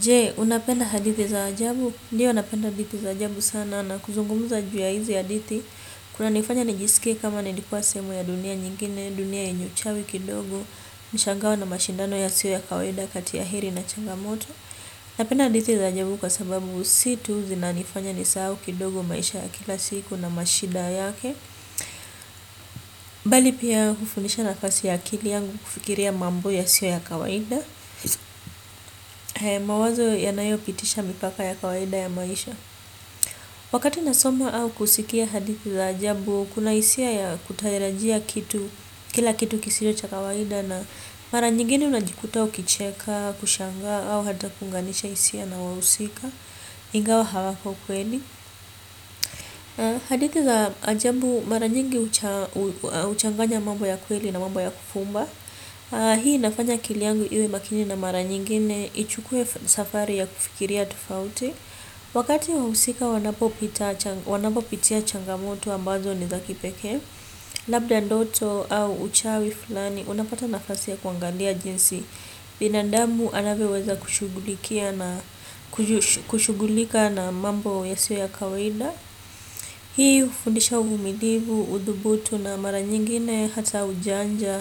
Je, unapenda hadithi za ajabu? Ndio napenda hadithi za ajabu sana na kuzungumza juu ya hizi hadithi. Kunanifanya nijisikie kama nilikua sehemu ya dunia nyingine, dunia yenye uchawi kidogo, mishangao na mashindano yasio ya kawaida kati ya heri na changamoto. Napenda hadithi za ajabu kwa sababu si tu zinanifanya nisahau kidogo maisha ya kila siku na mashida yake. Bali pia hufundisha nafasi ya akili yangu kufikiria mambo yasio ya kawaida. Mawazo yanayopitisha mipaka ya kawaida ya maisha. Wakati nasoma au kusikia hadithi za ajabu kuna hisia ya kutarajia kitu. Kila kitu kisio cha kawaida na mara nyingine unajikuta ukicheka kushangaa au hata kuunganisha hisia na wahusika ingawa hawako kweli hadithi za ajabu mara nyingi huchanganya mambo ya kweli na mambo ya kufumba. Hii inafanya akili yangu iwe makini na mara nyingine ichukue safari ya kufikiria tofauti. Wakati wahusika wanapopitia changamoto ambazo ni za kipekee labda ndoto au uchawi fulani. Unapata nafasi ya kuangalia jinsi binandamu anavyoweza kushughulika na mambo yasiyo ya kawaida. Hii hufundisha uvumilivu, udhubutu na mara nyingine hata ujanja,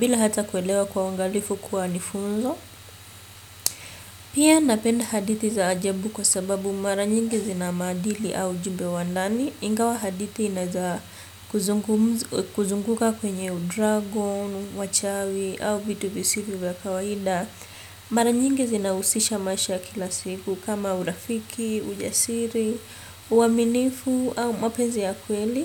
bila hata kuelewa kuwa uangalifu kuwa ni funzo. Pia napenda hadithi za ajabu kwa sababu mara nyingi zina maadili au ujumbe wa ndani ingawa hadithi inaeza kuzunguka kwenye u dragon, wachawi au vitu visivyo vya kawaida mara nyingi zinahusisha maisha ya kila siku kama urafiki, ujasiri, uaminifu au mpenzi ya kweli.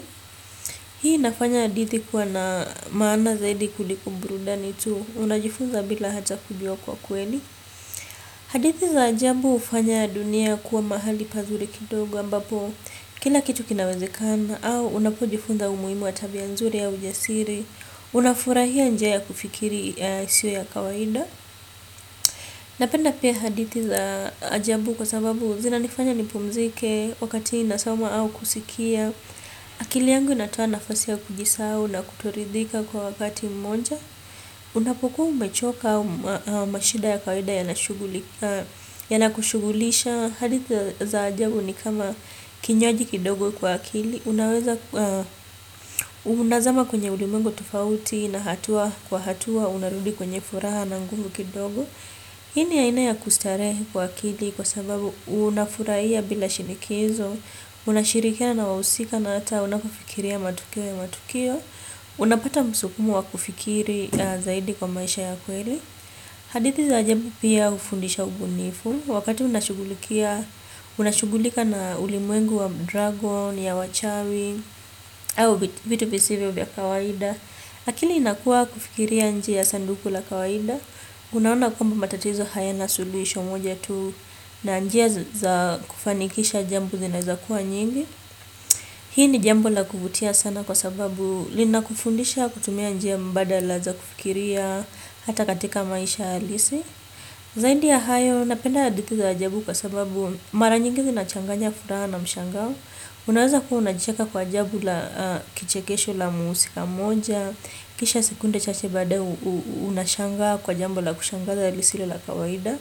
Hii inafanya hadithi kuwa na maana zaidi kuliko burudani tu unajifuza bila hata kujua kwa kweli. Hadithi za ajabu hufanya dunia kuwa mahali pazuri kidogo ambapo kila kitu kinawezekana au unapojifunza umuhimu wa tabia nzuri ya ujasiri, unafurahia njia ya kufikiri yasio ya kawaida. Napenda pia hadithi za ajabu kwa sababu zinanifanya nipumzike, wakati nasoma au kusikia. Akili yangu inatoa nafasi ya kujisahau na kutoridhika kwa wakati moja. Unapokuwa umechoka au mashida ya kawaida yana kushughulisha. Hadithi za ajabu ni kama kinywaji kidogo kwa akili. Unaweza, unazama kwenye ulimwengu tofauti na hatua kwa hatua, unarudi kwenye furaha na nguvu kidogo. Hii ni aina ya kustarehe kwa akili kwa sababu unafurahia bila shinikizo, unashirikiana na wahusika na hata unapofikiria matukio ya matukio, unapata msukumo wa kufikiri zaidi kwa maisha ya kweli. Hadithi za ajabu pia hufundisha ubunifu, wakati unashughulika na ulimwengu wa dragon, ya wachawi, au vitu visivyo vya kawaida. Akili inakuwa kufikiria nje ya sanduku la kawaida unaona kwamba matatizo hayana suluhisho moja tu na njia za kufanikisha jambo zinaweza kuwa nyingi. Hii ni jambo la kuvutia sana kwa sababu linakufundisha kutumia njia mbadala za kufikiria hata katika maisha halisi. Zaidi ya hayo napenda hadithi za ajabu kwa sababu mara nyingi zinachanganya furaha na mshangao. Unaweza kuwa unacheka kwa ajabu kichekesho la mhusika moja kisha sekunde chache baadaye unashangaa kwa jambo la kushangaza lisilo la kawaida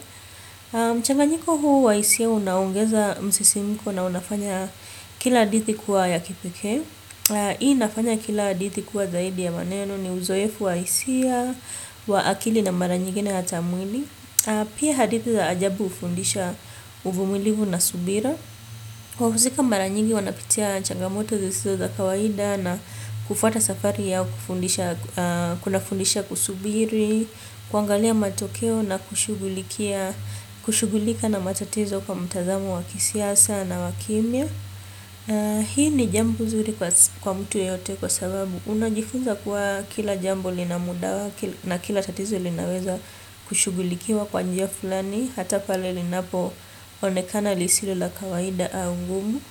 na mchanganyiko huu wa hisia unaongeza msisimiko na unafanya kila hadithi kuwa ya kipekee. Hii inafanya kila hadithi kuwa zaidi ya maneno ni uzoefu wa hisia, wa akili na mara nyigine hata mwili. Pia hadithi za ajabu hufundisha uvumilivu na subira wahusika mara nyingi wanapitia changamoto zisizo za kawaida na hufuata safari yao hufundisha kunafundisha kusubiri kuangalia matokeo na kushughulikia kushughulika na matatizo kwa mtazamo wa kisiasa na wa kimya na hii ni jambo zuri kwa mtu yoyote kwa sababu. Unajifunza kuwa kila jambo lina muda wake na kila tatizo linaweza kushughulikiwa kwa njia fulani. Hata pale linapoonekana lisilo la kawaida au ngumu.